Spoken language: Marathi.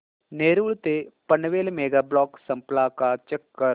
नेरूळ ते पनवेल मेगा ब्लॉक संपला का चेक कर